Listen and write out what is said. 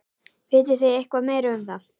Vitið þið eitthvað meira um það?